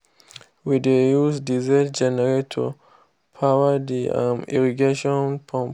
we dey use diesel generator power the um irrigation pump.